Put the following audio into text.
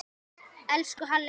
Elsku Halli afi.